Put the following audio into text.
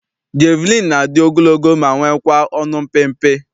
Jeviliini na-adị ogologo ma nwekwaa ọnụ mpịmpị.